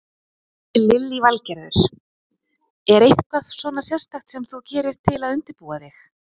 Lillý Valgerður: Er eitthvað svona sérstakt sem þú gerir til að undirbúa þig?